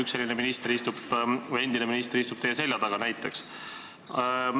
Üks selline endine minister istub praegu teie selja taga.